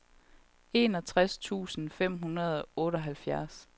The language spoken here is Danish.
enogtres tusind fem hundrede og otteoghalvfjerds